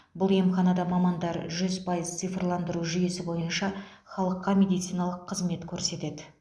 бұл емханада мамандар жүз пайыз цифрландыру жүйесі бойынша халыққа медициналық қызмет көрсетеді